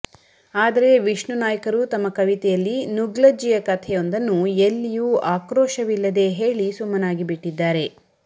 ಆದರೆ ವಿಷ್ಣು ನಾಯ್ಕರು ತಮ್ಮ ಕವಿತೆಯಲ್ಲಿ ನುಗ್ಲಜ್ಜಿಯ ಕಥೆಯೊಂದನ್ನು ಎಲ್ಲಿಯೂ ಆಕ್ರೋಶವಿಲ್ಲದೇ ಹೇಳಿ ಸುಮ್ಮನಾಗಿಬಿಟ್ಟಿದ್ದಾರೆ